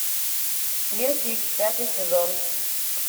твин пикс пятый сезон